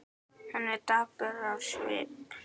Hann er dapur á svip.